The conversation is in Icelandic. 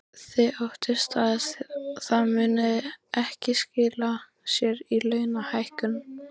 Þið óttist að það muni ekki skila sér í launahækkunum?